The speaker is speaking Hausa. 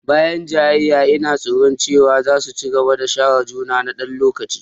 Bayan jayayyar, ina tsoro cewa za su ci gaba da share juna na ɗan lokaci.